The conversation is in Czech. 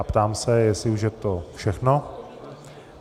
A ptám se, jestli už je to všechno?